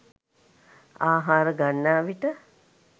ආහාර ගන්නා විට